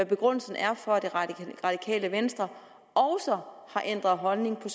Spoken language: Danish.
begrundelsen for at det radikale venstre også har ændret holdning til